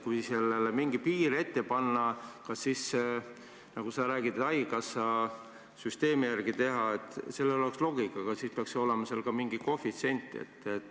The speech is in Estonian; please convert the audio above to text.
Kui sellele mingi piir ette panna, kui teha, nagu sa ütlesid, haigekassa süsteemi järgi, kas siis loogiliselt võttes peaks olema ka mingi koefitsient?